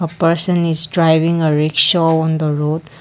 a person is driving a rickshaw on the road.